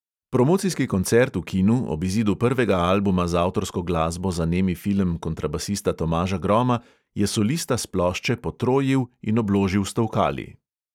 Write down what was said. Promocijski koncert v kinu ob izidu prvega albuma z avtorsko glasbo za nemi film kontrabasista tomaža groma je solista s plošče potrojil in obložil s tolkali.